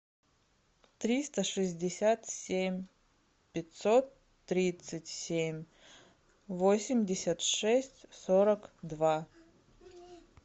триста шестьдесят семь пятьсот тридцать семь восемьдесят шесть сорок два